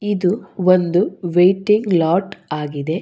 ಇದು ಒಂದು waiting lot ಆಗಿದೆ.